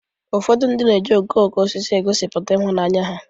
Ụfọdụ ndị mmadu na-eji okooko osisi egosipụta ịhụnanya ha.